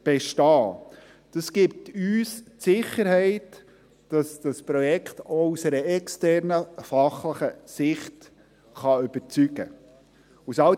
Dies gibt uns die Sicherheit, dass das Projekt auch aus einer externen, fachlichen Sicht überzeugen kann.